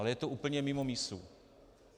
Ale je to úplně mimo mísu.